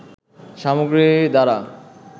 সামগ্রী দ্বারা